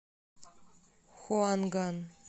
хуанган